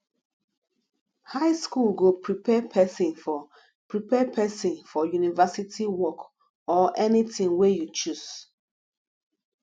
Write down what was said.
high school go prepare pesin for prepare pesin for university work or anything wey you choose